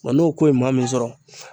Wa n'o ko ye maa min sɔrɔ